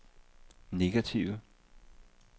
negative